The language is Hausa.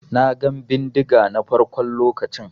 Na gan bindiga na farkon lokacin.